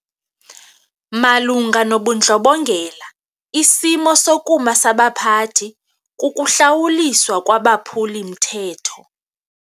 Malunga nobundlobongela isimo sokuma sabaphathi kukuhlawuliswa kwabaphuli-mthetho.